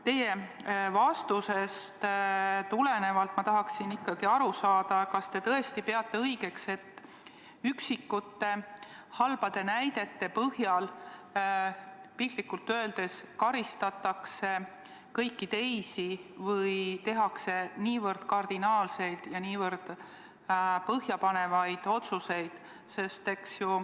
Teie vastusest tulenevalt tahaksin ma ikkagi aru saada, kas te tõesti peate õigeks, et üksikute halbade näidete põhjal, piltlikult öeldes, karistatakse kõiki teisi või tehakse niivõrd kardinaalseid ja niivõrd põhjapanevaid otsuseid.